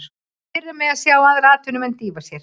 Það pirrar mig að sjá aðra atvinnumenn dýfa sér.